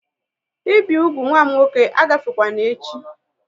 Ị bi úgwù nwa m nwoke a gafekwana echi!